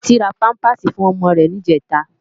Titi rá pàmpásí fún òmò rè nijètá